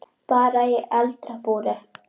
Bara í eldra búri.